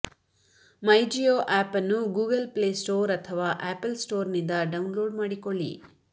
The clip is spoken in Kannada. ಮೈಜಿಯೋ ಆಪ್ ಅನ್ನು ಗೂಗಲ್ ಪ್ಲೇ ಸ್ಟೋರ್ ಅಥವಾ ಆಪಲ್ ಸ್ಟೋರ್ನಿಂದ ಡೌನ್ಲೋಡ್ ಮಾಡಿಕೊಳ್ಳಿ